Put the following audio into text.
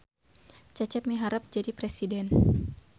Cecep miharep jadi presiden